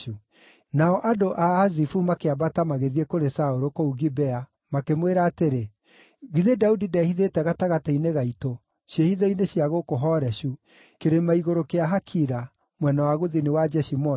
Nao andũ a Azifu makĩambata magĩthiĩ kũrĩ Saũlũ kũu Gibea makĩmwĩra atĩrĩ, “Githĩ Daudi ndehithĩte gatagatĩ-inĩ gaitũ ciĩhitho-inĩ cia gũkũ Horeshu, kĩrĩma-igũrũ kĩa Hakila, mwena wa gũthini wa Jeshimoni?